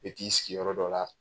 E k'i sigiyɔrɔ dɔ la